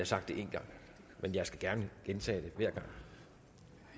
sagt det en gang men jeg skal gerne gentage det